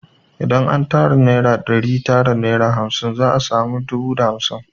Idan an tara naira ɗari tara da naira hamsin za a sami dubu da hamsin